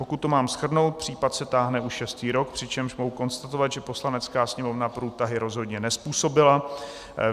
Pokud to mám shrnout, případ se táhne už šestý rok, přičemž mohu konstatovat, že Poslanecká sněmovna průtahy rozhodně nezpůsobila.